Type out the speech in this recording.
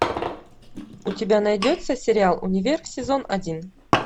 у тебя найдется сериал универ сезон один